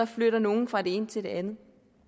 flytter nogle fra det ene til det andet